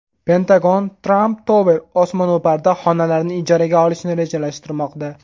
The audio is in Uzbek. Pentagon Trump Tower osmono‘parida xonalarni ijaraga olishni rejalashtirmoqda.